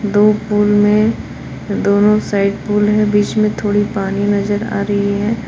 दो पुल में दोनों साइड पुल है। बीच में पानी थोड़ी पानी नजर आ रही है।